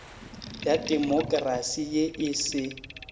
ya demokrasi ye e se